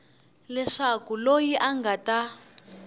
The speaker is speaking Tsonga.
leswaku loyi a nga ta